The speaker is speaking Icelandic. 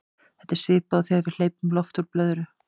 þetta er svipað og þegar við hleypum lofti úr blöðru